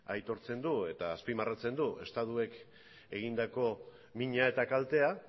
aitortzen du eta azpimarratzen du estatuak egindako mina eta kaltea